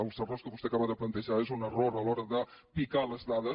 els errors que vostè acaba de plantejar és un error a l’hora de picar les dades